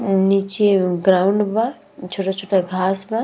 नीचे ग्राउंड बा छोटा-छोटा घास बा।